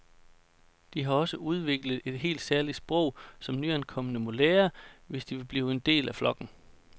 De har også udviklet et helt særligt sprog, som nyankomne må lære, hvis de vil blive del af flokken.